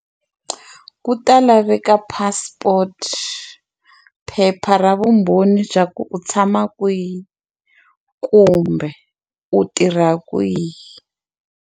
Ku ta laveka passport phepha ra vumbhoni bya ku u tshama kwihi kumbe u tirha kwihi.